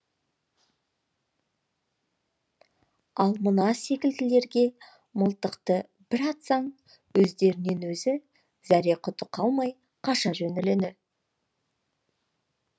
ал мына секілділерге мылтықты бір атсаң өздерінен өздері зәре құты қалмай қаша жөнеледі